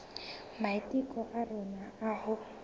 maiteko a rona a ho